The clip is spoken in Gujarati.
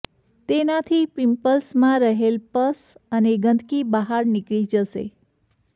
તેનાથી પિંપલ્સમાં રહેલ પસ અને ગંદકી બહાર નીકળી જશે